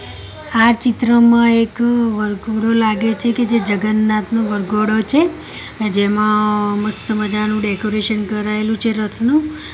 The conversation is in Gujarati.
આ ચિત્રમાં એક વરઘોડો લાગે છે કે જે જગન્નાથનો વરઘોડો છે જેમા મસ્ત મજાનુ ડેકોરેશન કરાયેલુ છે રથનુ.